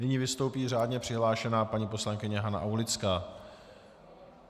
Nyní vystoupí řádně přihlášená paní poslankyně Hana Aulická.